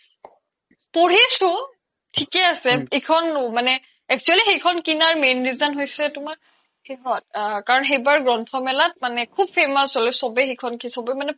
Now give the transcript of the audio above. পঢ়িছো থিকে আছে ইখন মানে actually সেই খন কিনাৰ main reason হৈছে তুমাৰ সিহত কাৰন সেইবাৰ গ্ৰন্থোমেলাত মানে খুব famous হ্'ল চ্'বে সেইখন